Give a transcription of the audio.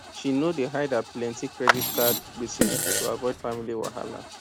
she know dey hide her plenty credit card gbese to avoid family wahala